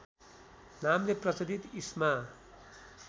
नामले प्रचलित ईस्मा